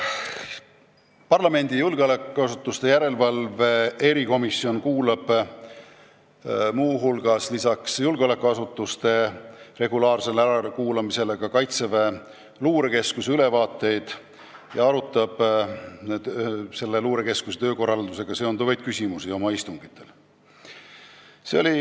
Parlamendi julgeolekuasutuste järelevalve erikomisjon kuulab lisaks julgeolekuasutuste regulaarsele ärakuulamisele ka Kaitseväe Luurekeskuse ülevaateid ja arutab oma istungitel selle töökorraldusega seonduvaid küsimusi.